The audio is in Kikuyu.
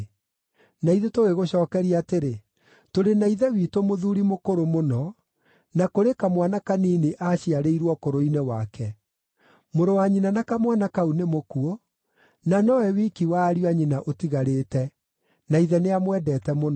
Na ithuĩ tũgĩgũcookeria atĩrĩ, ‘Tũrĩ na ithe witũ mũthuuri mũkũrũ mũno, na kũrĩ kamwana kanini aaciarĩirwo ũkũrũ-inĩ wake. Mũrũ-wa-nyina na kamwana kau nĩ mũkuũ, na nowe wiki wa ariũ a nyina ũtigarĩte, na ithe nĩamwendete mũno.’